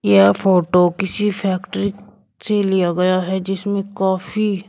यह फोटो किसी फैक्ट्री से लिया गया है जिसमें कॉफी है।